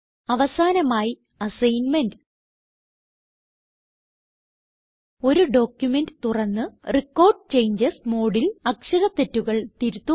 അവസാനമായി അസൈൻമെന്റ് ഒരു ഡോക്യുമെന്റ് തുറന്ന് റെക്കോർഡ് ചേഞ്ചസ് മോഡിൽ അക്ഷര തെറ്റുകൾ തിരുത്തുക